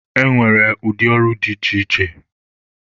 E nwere ụdị ọrụ dị iche iche.